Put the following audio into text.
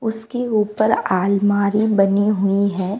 उसके ऊपर आलमारी बनी हुई हैं।